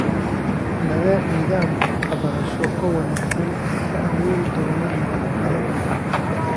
Nidaam waxbarasho oo wanaagsan ayaa abuuri doona nabad badan.